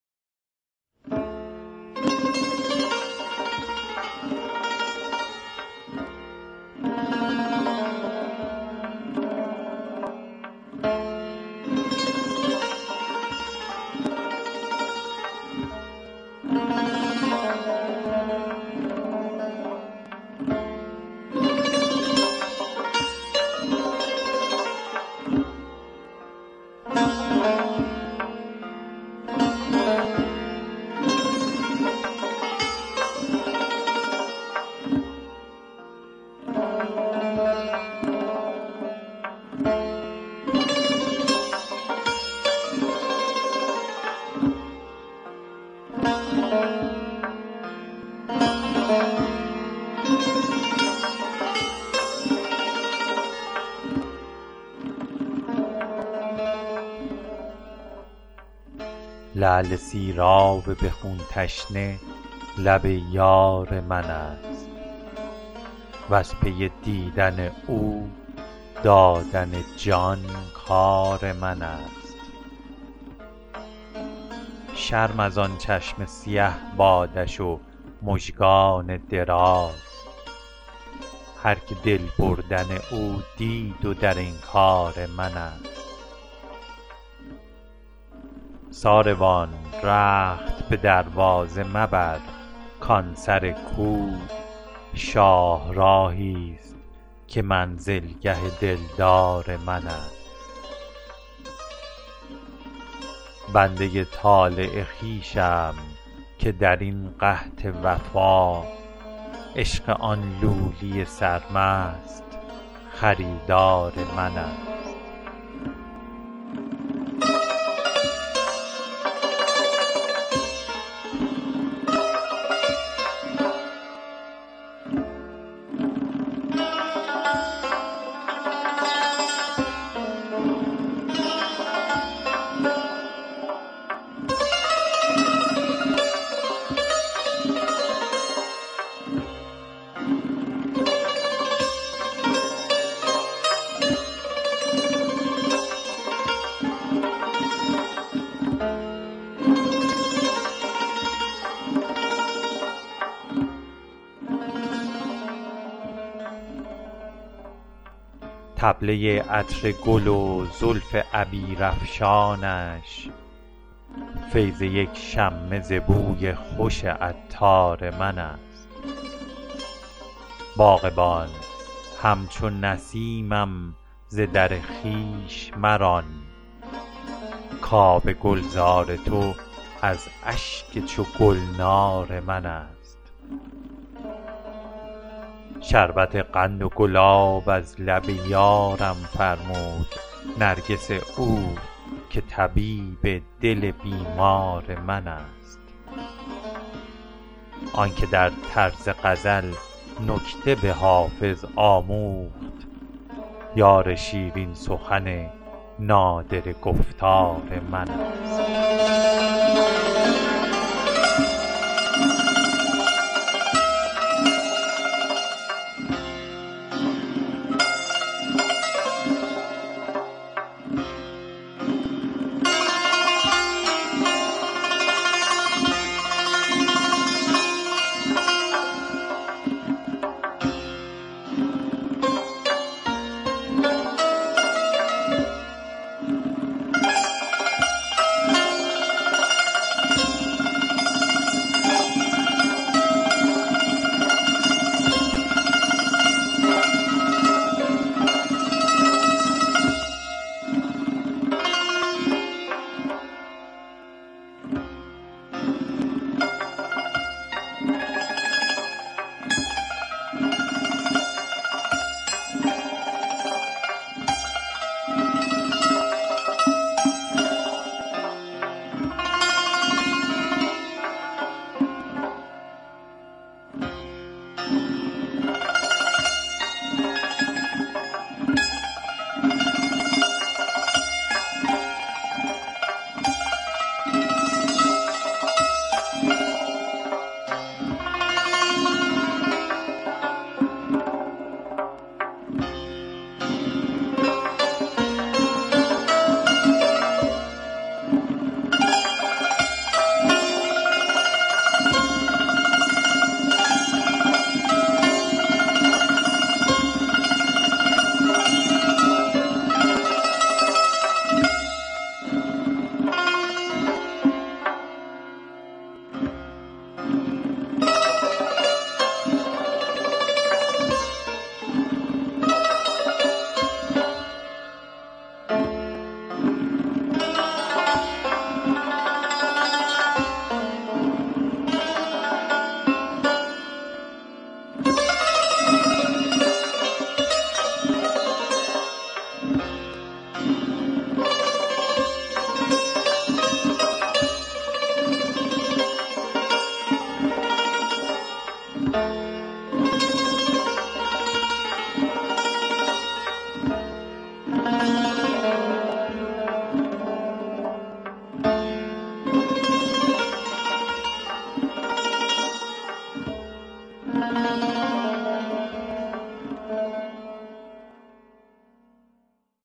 لعل سیراب به خون تشنه لب یار من است وز پی دیدن او دادن جان کار من است شرم از آن چشم سیه بادش و مژگان دراز هرکه دل بردن او دید و در انکار من است ساروان رخت به دروازه مبر کان سر کو شاهراهی ست که منزلگه دلدار من است بنده ی طالع خویشم که در این قحط وفا عشق آن لولی سرمست خریدار من است طبله ی عطر گل و زلف عبیرافشانش فیض یک شمه ز بوی خوش عطار من است باغبان همچو نسیمم ز در خویش مران کآب گلزار تو از اشک چو گلنار من است شربت قند و گلاب از لب یارم فرمود نرگس او که طبیب دل بیمار من است آن که در طرز غزل نکته به حافظ آموخت یار شیرین سخن نادره گفتار من است